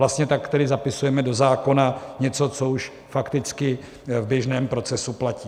Vlastně tak tedy zapisujeme do zákona něco, co už fakticky v běžném procesu platí.